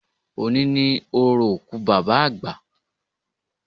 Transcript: Òní ni orò òkú Bàbá àgbà